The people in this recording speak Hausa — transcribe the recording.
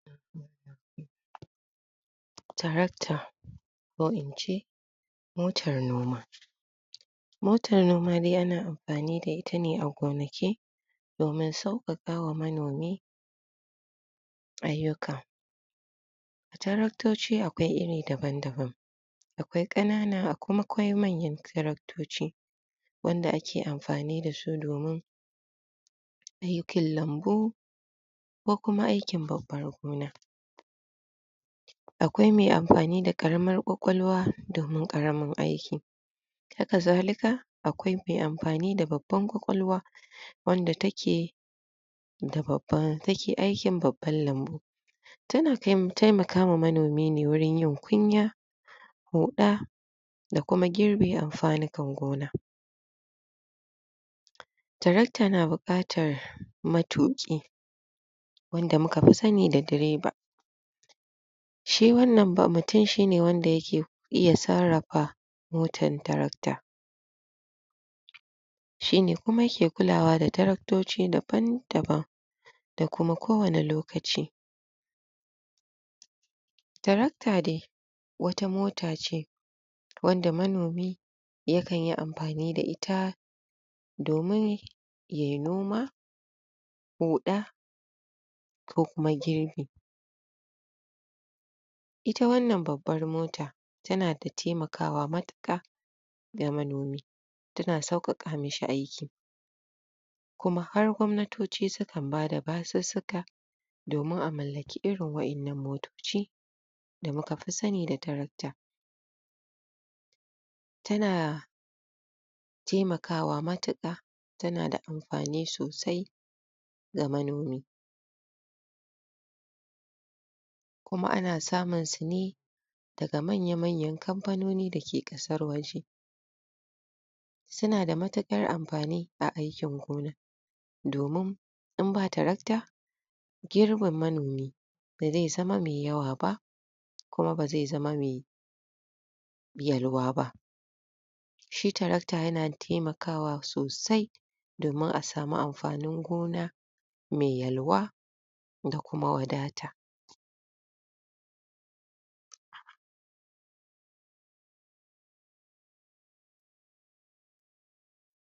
Tracter ko ince motar noma motar noma ana amfani da ita ne a gonaki domin sauƙaƙawa manomi ayyuka taraktoci akwai iri daban daban akwai ƙanana akwai manyan taraktoci wanda ake amfani dasu domin aikin lambu ko kuma aikin ban ruwan gona akwai me amfani da ƙaramar ƙwaƙwalwa domin ƙaramin aiki haka zalika akwai me amfani da babbar ƙwaƙwalwa wanda take da babbar, wadda take aikin babban lambu tana taimakawa manomi ne gurin yin kunya ruɗʼa da kuma girbe amfanukan gona tirakta na buƙatar matuƙi wanda muka fi sani da direba shi wannan ba mutum shine wanda yake iya sarrafa motan tirakta shine kuma wanda yake kulawa da tiraktoci daban daban da kuma kowanne lokaci tirakta dai wata mota ce wanda manomi yakanyi amfani da ita domin yay noma huɗʼa ko kuma girbi ita wannan babbar mota tana dai taimakawa matuƙa ga manomi tana sauƙaƙa mishi aiki kuma har gwamnatoci sukan bada basussuka domin a mallaki irin waɗannan motoci da mukafi sani da tirakta tana taimakawa matuƙa tana da amfani sosai ga manomi kuma ana samun su ne daga manya manyan kamfanoni dake ƙasar waje sunada matuƙar amfani a aikin gona domin inba tirakta girbin manomi baze zama me yawa ba kuma baze zama me yalwa ba shi tirakta yana taimakawa sosai domin a samu amfanin gona me yalwa da kuma wadata